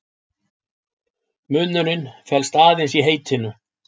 Munurinn felst aðeins í heitinu.